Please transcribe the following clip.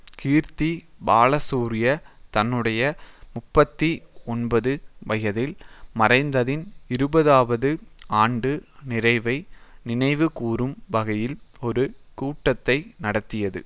கீர்த்தி பாலசூரிய தன்னுடைய முப்பத்தி ஒன்பது வயதில் மறைந்ததின் இருபதாவது ஆண்டு நிறைவை நினைவுகூரும் வகையில் ஒரு கூட்டத்தை நடத்தியது